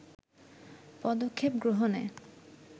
পদক্ষেপ গ্রহণে